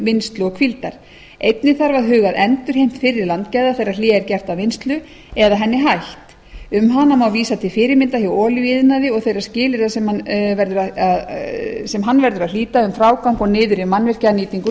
vinnslu og hvíldar einnig þarf að huga að endurheimt fyrri landgæða þegar hlé er gert á vinnslu eða henni hætt um hana má vísa til fyrirmynda hjá olíuiðnaði og þeirra skilyrða sem hann verður að hlíta um frágang og niðurrif mannvirkja að nýtingu